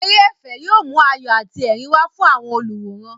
Eré ẹ̀fẹ̀ yóò mú ayọ̀ àti ẹ̀rín wá fún àwọn olùwòran.